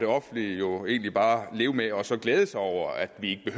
offentlige jo egentlig bare leve med og så glæde sig over at de